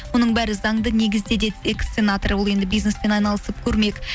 оның бәрі заңды негізде деді экс сенатор ол енді бизнеспен айналысып көрмек